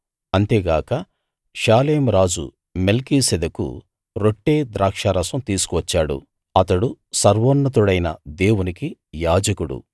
అంతేగాక షాలేము రాజు మెల్కీసెదెకు రొట్టె ద్రాక్షారసం తీసుకువచ్చాడు అతడు సర్వోన్నతుడైన దేవునికి యాజకుడు